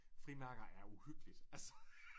Frimærker er uhyggeligt altså